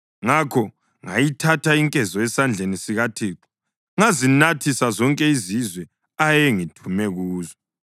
Ngakho ngayithatha inkezo esandleni sikaThixo ngazinathisa zonke izizwe ayengithume kuzo: